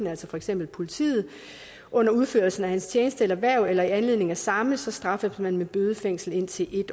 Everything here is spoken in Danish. altså for eksempel politiet under udførelsen af tjeneste eller hverv eller i anledning af samme så straffes man med bøde eller fængsel indtil i